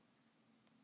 Texas til Flórída.